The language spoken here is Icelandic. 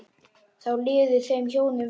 Þá liði þeim hjónum vel.